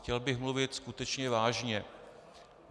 Chtěl bych mluvit skutečně vážně.